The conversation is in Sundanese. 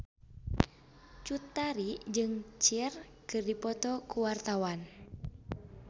Cut Tari jeung Cher keur dipoto ku wartawan